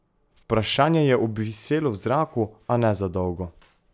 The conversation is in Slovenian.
Vprašanje je obviselo v zraku, a ne za dolgo.